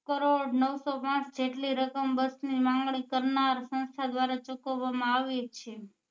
કરોડ નવસો જેટલી રકમ બસ ની માંગની કરનાર સંસ્થા દ્વારા ચુકવવા માં આવી છે